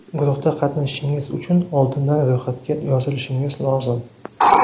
Guruhda qatnashishingiz uchun oldindan ro‘yxatga yozilishingiz lozim.